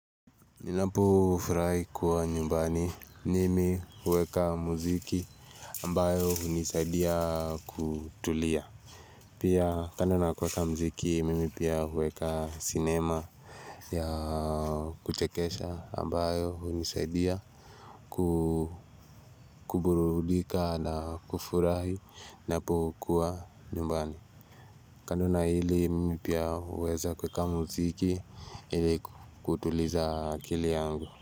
Ninapofurahi kuwa nyumbani mimi hueka muziki ambayo hunisaidia kutulia. Pia kando na kueka muziki mimi pia huweka cinema ya kuchekesha ambayo hunisaidia kukuburudika na kufurahi napokuwa nyumbani. Kando na hili mimi pia huweza kuweka muziki ili kutuliza akili yangu.